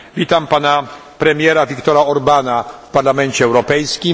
Witam pana premiera Viktora Orbána w Parlamencie Europejskim.